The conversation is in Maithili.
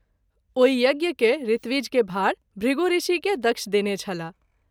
ओहि यज्ञ के ऋत्विज के भाड़ भृगु ऋषि के दक्ष देने छलाह।